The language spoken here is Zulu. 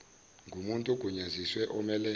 ngomuntu ogunyaziwe omele